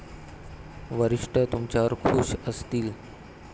वरिष्ठ तुमच्यावर खूश असतील.